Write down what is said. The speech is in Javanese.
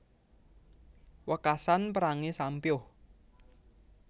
Wekasan perangé sampyuh